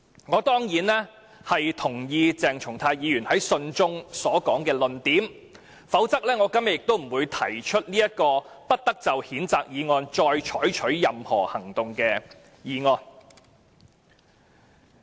"我當然認同鄭松泰議員信中所說的論點，否則我今天亦不會提出"不得就謝偉俊議員動議的譴責議案再採取任何行動"的議案。